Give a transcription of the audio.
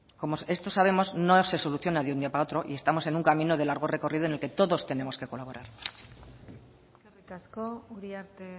como esto sabemos no se soluciona de un día para otro y estamos en un camino de largo recorrido en el que todos tenemos que colaborar eskerrik asko uriarte